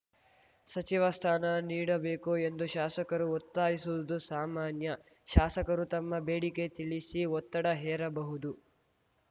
ಸಚಿವ ಸ್ಥಾನ ನೀಡಬೇಕು ಎಂದು ಶಾಸಕರು ಒತ್ತಾಯಿಸುವುದು ಸಾಮಾನ್ಯ ಶಾಸಕರು ತಮ್ಮ ಬೇಡಿಕೆ ತಿಳಿಸಿ ಒತ್ತಡ ಹೇರಬಹುದು